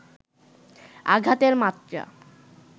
আঘাতের মাত্রা